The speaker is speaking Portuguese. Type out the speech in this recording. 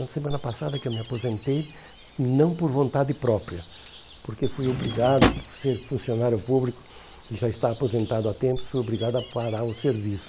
Na semana passada que eu me aposentei, não por vontade própria, porque fui obrigado, por ser funcionário público e já estar aposentado há tempo, fui obrigado a parar o serviço.